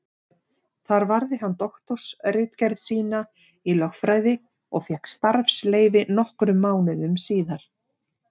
Þar varði hann doktorsritgerð sína í lögfræði og fékk starfsleyfi nokkrum mánuðum síðar.